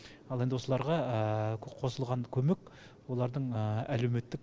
ал енді осыларға қосылған көмек олардың әлуеметтік